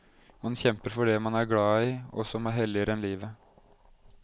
Man kjemper for det man er glad i og som er helligere enn livet.